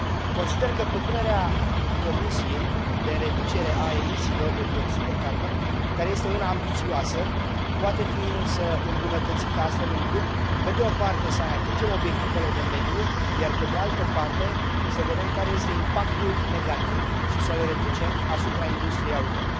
Consider că propunerea Comisiei de reducere a emisiilor de dioxid de carbon care este una ambițioasă poate fi, însă, îmbunătățită astfel încât, pe de o parte, să atingem obiectivele de mediu, iar, pe de altă parte, să vedem care este impactul negativ și să l reducem asupra industriei auto.